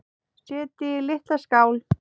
Setjið í litla skál.